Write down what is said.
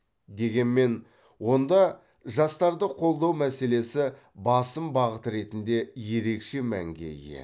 дегенмен онда жастарды қолдау мәселесі басым бағыт ретінде ерекше мәнге ие